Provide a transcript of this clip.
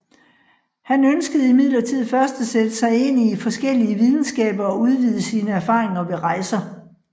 Han ønskede imidlertid først at sætte sig ind i forskellige videnskaber og udvide sine erfaringer ved rejser